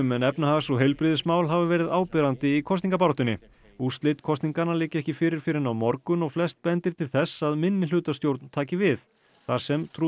en efnahags og heilbrigðismál hafa verið áberandi í kosningabaráttunni úrslit kosninganna liggja ekki fyrir fyrr en á morgun og flest bendir til þess að minnihlutastjórn taki við þar sem